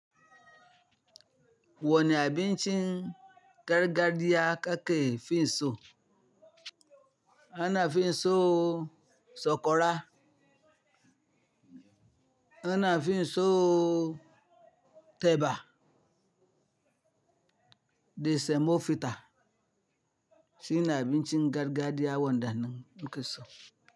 Wani abincin gargajiya kake fi so? A nafi son sokora, ana fi so teba da semovita, shine abincin gargajiya wanda nake so.